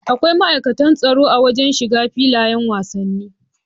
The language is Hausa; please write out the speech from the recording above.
Akwai ma'aikatan tsaro a wajan shiga filayan wasanni